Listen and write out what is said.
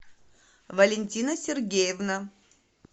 валентина сергеевна